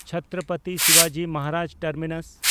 ᱪᱷᱛᱨᱚᱯᱚᱛᱤ ᱥᱤᱵᱟᱡᱤ ᱢᱚᱦᱟᱨᱟᱡᱽ ᱴᱟᱨᱢᱤᱱᱟᱥ